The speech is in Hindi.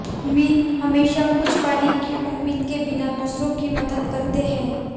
मीन हमेशा कुछ पाने की उम्मीद के बिना दूसरों की मदद करते हैं